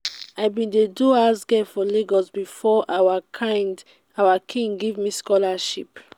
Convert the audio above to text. i bin dey do house girl for lagos before our king give me scholarship.